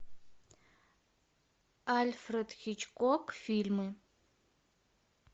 альфред хичкок фильмы